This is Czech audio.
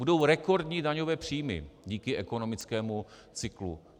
Budou rekordní daňové příjmy díky ekonomickému cyklu.